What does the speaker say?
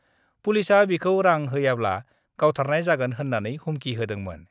पुलिसआ बिखाौ रां होयाब्ला गावथारनाय जागोन होननानैबो हुमखि होदोंमोन।